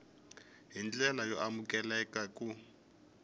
hi ndlela yo amukeleka ku